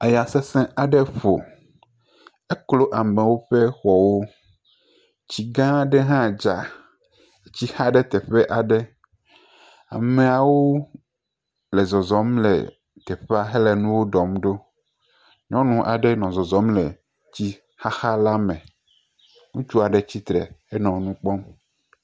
Eya sesẽ aɖe ƒo, eklo amewo ƒe xɔwo, tsi gã aɖe hã dza si xa ɖe teƒe aɖe, ameawo nɔ zɔzɔm le teƒea hele nuwo ɖɔm ɖo, nyɔnu aɖe nɔ zɔzɔm le tsixaxa la me, ŋutsu aɖe tsi tre henɔ nu kpɔm.